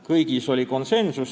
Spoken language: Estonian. Kõik need tehti konsensuslikult.